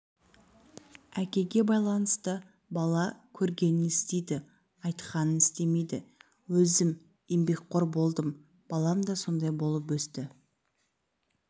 әкеге байланысты бала көргенін істейді айтқанды істемейді өзім еңбекқор болдым балам да сондай болып өсті